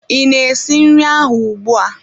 Ị na-esi nri ahụ ugbua?